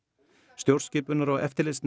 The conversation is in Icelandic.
stjórnskipunar og eftirlitsnefnd